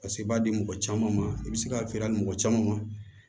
Paseke i b'a di mɔgɔ caman ma i bɛ se ka feere mɔgɔ caman ma